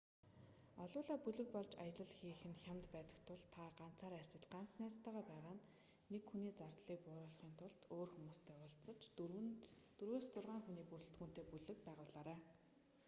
олуулаа бүлэг болж аялал хийх нь хямд байдаг тул та ганцаараа эсвэл ганц найзтайгаа байгаа бол нэг хүний зардлыг бууруулахын тулд өөр хүмүүстэй уулзаж дөрвөөс зургаан хүний ​​бүрэлдэхүүнтэй бүлэг байгуулаарай